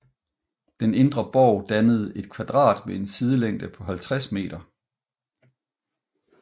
Den indre borg dannede et kvadrat med en sidelængde på 50 meter